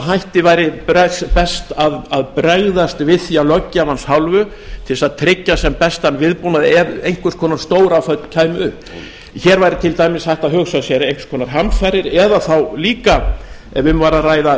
hætti væri best að bregðast við því af löggjafans hálfu til þess að tryggja sem bestan viðbúnað ef einhvers konar stóráföll kæmu upp hér væri til dæmis hægt að hugsa sér einhvers konar hamfarir eða þá líka ef um væri að ræða